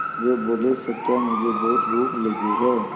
वे बोले सत्या मुझे बहुत भूख लगी है